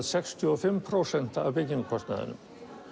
sextíu og fimm prósent af byggingarkostnaðinum